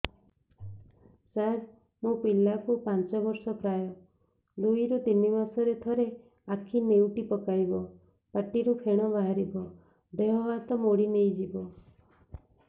ସାର ମୋ ପିଲା କୁ ପାଞ୍ଚ ବର୍ଷ ପ୍ରାୟ ଦୁଇରୁ ତିନି ମାସ ରେ ଥରେ ଆଖି ନେଉଟି ପକାଇବ ପାଟିରୁ ଫେଣ ବାହାରିବ ଦେହ ହାତ ମୋଡି ନେଇଯିବ